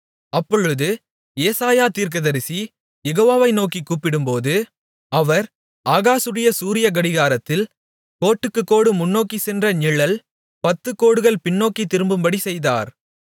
அப்பொழுது ஏசாயா தீர்க்கதரிசி யெகோவாவை நோக்கிக் கூப்பிடும்போது அவர் ஆகாசுடைய சூரிய கடிகாரத்தில் கோட்டுக்கு கோடு முன்னோக்கிச் சென்ற நிழல் பத்துகோடுகள் பின்னோக்கித் திரும்பும்படி செய்தார்